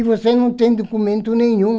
E você não tem documento nenhum.